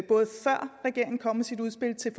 regeringen kom med sit udspil til